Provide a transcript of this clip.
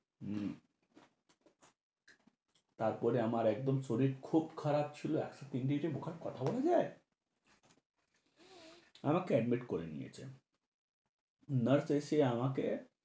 হুহ, তারপরে আমার একদম শরীর খুব খারাপ ছিলো। একশ তিন degree, মুখে কথা বলা যায়? আমাকে admit করে নিয়েছে, nurse এসে আমাকে